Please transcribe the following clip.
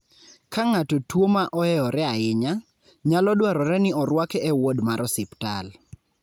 Ka ng'ato tuwo ma ohewore ahinya, nyalo dwarore ni orwake e wod mar osiptal.